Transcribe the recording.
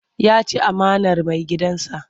Ya ci amanar maigidansa.